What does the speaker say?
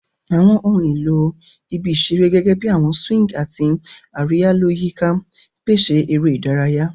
Awọn ohun elo ibi isere, gẹgẹbi awọn swings ati ariya-lọ-yika, pese eré ìdárayá.